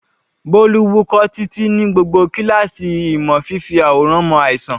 Bolu wúkọ́ títí ní gbogbo kíláàsì ìmọ̀ fífi àwòrán mọ àìsàn.